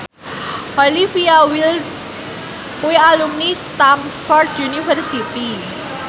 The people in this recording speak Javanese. Olivia Wilde kuwi alumni Stamford University